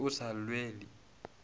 o be a sa lwele